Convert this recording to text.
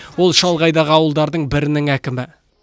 ол шалғайдағы ауылдардың бірінің әкімі